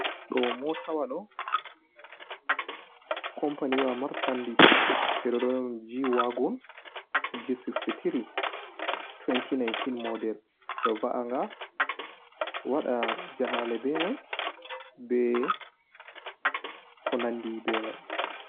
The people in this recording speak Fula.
Ɗo motawa ɗo companiwa marsandis ɓeɗon d j wagun g63 2019 model ɓeɗo va’anga waɗa jahale be mai be ko nandi be mai.